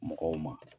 Mɔgɔw ma